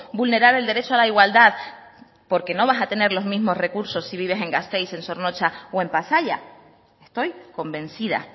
vulnerar el derecho a la igualdad porque no vas a tener los mismos recursos si vives en gasteiz en zornotza o en pasaia estoy convencida